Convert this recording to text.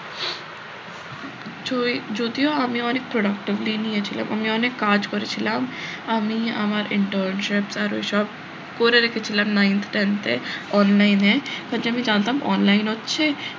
যদিও আমি অনেক productively নিয়েছিলাম আমি অনেক কাজ করেছিলাম আমি আমার internships আরো সব করে রেখেছিলাম nine tenth online এ হচ্ছে আমি জানতাম online হচ্ছে,